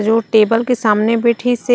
जो टेबल के सामने बेठीस हे।